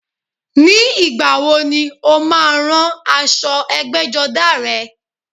Ní ìgbàwo ni o má a rán aṣọ ẹgbẹ́jọdá rẹ?